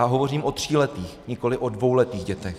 A hovořím o tříletých, nikoliv o dvouletých dětech.